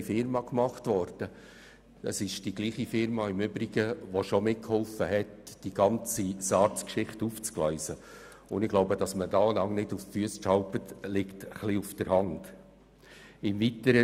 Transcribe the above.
Es ist übrigens dieselbe Firma, die bereits mitgeholfen hat, die ganze SARZGeschichte aufzugleisen, und es liegt wohl auf der Hand, dass man sich dabei nicht auf die Füsse tritt.